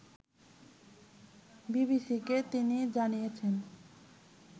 বিবিসিকে তিনি জানিয়েছেন